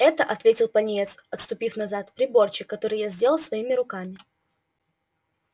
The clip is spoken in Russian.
это ответил пониетс отступив назад приборчик который я сделал своими руками